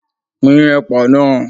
Pín ẹ̀pà náà!